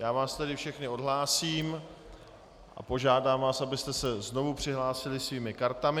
Já vás tedy všechny odhlásím a požádám vás, abyste se znovu přihlásili svými kartami.